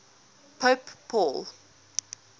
pope paul